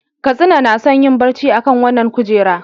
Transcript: Katsina na son yin barci akan wannan kujera.